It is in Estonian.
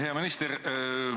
Hea minister!